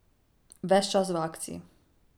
Ves čas v akciji.